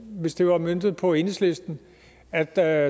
hvis det var møntet på enhedslisten at der er